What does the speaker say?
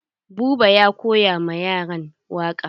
Buba ya koya ma yaran waƙa.